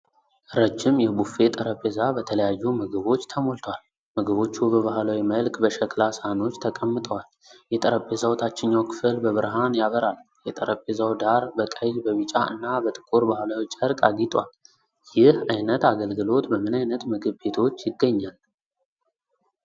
ረጅም የቡፌ ጠረጴዛ በተለያዩ ምግቦች ተሞልቷል። ምግቦቹ በባህላዊ መልክ በሸክላ ሳህኖች ተቀምጠዋል። የጠረጴዛው ታችኛው ክፍል በብርሃን ያበራል። የጠረጴዛው ዳር በቀይ፣ በቢጫ እና በጥቁር ባህላዊ ጨርቅ አጊጧል። ይህ ዓይነት አገልግሎት በምን ዓይነት ምግብ ቤቶች ይገኛል?